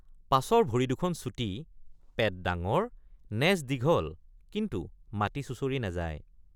পাছৰ ভৰি দুখন চুটি পেট ডাঙৰ নেজ দীঘল কিন্তু মাটি চুচৰি নাযায়।